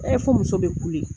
E fo muso bɛ kule